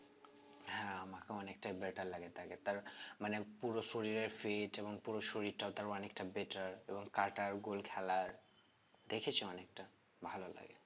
হ্যাঁ আমাকে অনেকটাই better লাগে তাকে তার মানে পুরো শরীরের fit এবং পুরো শরীরটাও তার অনেকটা better এবং কাটার goal খেলার দেখেছো অনেকটা ভালো লাগে